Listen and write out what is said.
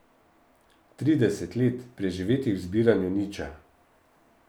Trideset let, preživetih v zbiranju niča.